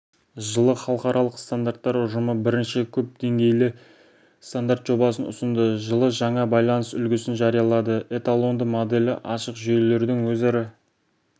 жылы халықаралық стандарттар ұжымы бірінші көп деңгейлі стандарт жобасын ұсынды жылы жаңа байланыс үлгісін жариялады эталонды моделі ашық жүйелердің өзара